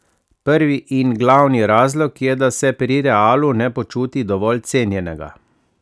Prvi in glavni razlog je, da se pri Realu ne počuti dovolj cenjenega.